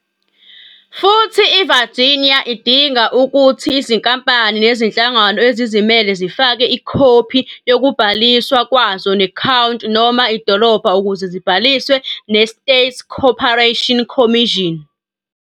Futhi iVirginia idinga ukuthi izinkampani nezinhlangano ezizimele zifake ikhophi yokubhaliswa kwazo ne-County noma idolobha ukuze zibhaliswe ne-State Corporation Commission.